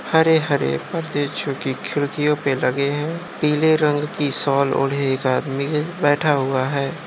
हरे - हरे परदे जो कि खिडकियों पर लगे है| पीले रंग की शॉल ओढे एक आदमी है बैठा हुआ है।